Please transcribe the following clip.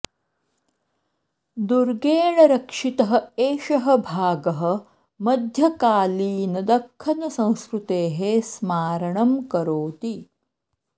दुर्गेण रक्षितः एषः भागः मध्यकालीनदक्खन् संस्कृतेः स्मारणं करोति